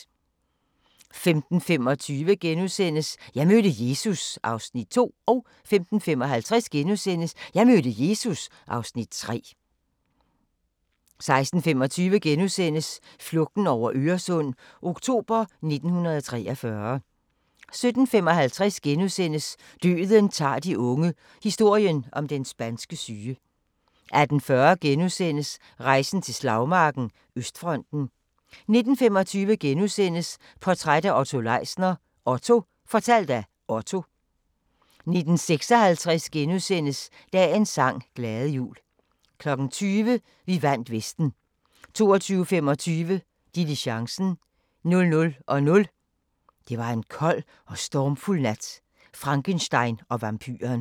15:25: Jeg mødte Jesus (Afs. 2)* 15:55: Jeg mødte Jesus (Afs. 3)* 16:25: Flugten over Øresund – oktober 1943 * 17:55: Døden tager de unge – historien om den spanske syge * 18:40: Rejsen til slagmarken: Østfronten * 19:25: Portræt af Otto Leisner: OTTO - fortalt af Otto * 19:56: Dagens sang: Glade jul * 20:00: Vi vandt Vesten 22:25: Diligencen 00:00: Det var en kold og stormfuld nat – Frankenstein og vampyren